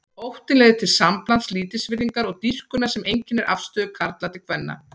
Óttinn leiðir til samblands lítilsvirðingar og dýrkunar sem einkennir afstöðu karla til kvenna.